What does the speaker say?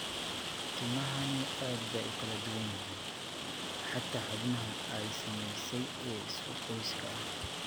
Tilmaamahani aad bay u kala duwan yihiin, xataa xubnaha ay saamaysay ee isku qoyska ah.